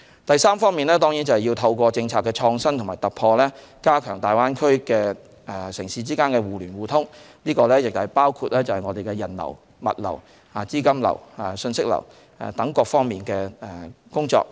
第三方面是透過政策的創新與突破，加強大灣區城市之間的互聯互通，包括人流、物流、資金流和信息流等各方面的工作。